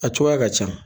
A cogoya ka ca